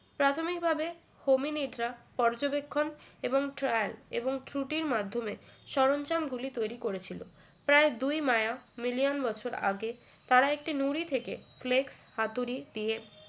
প্রাথমিকভাবে homineed রা পর্যবেক্ষণ এবং trail এবং ত্রুটির মাধ্যমে সরঞ্জামগুলি তৈরি করেছিল প্রায় দুই মায়া million বছর আগে তারা একটি নুড়ি থেকে flesk হাতুড়ি দিয়ে